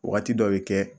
Wagati dɔ bɛ kɛ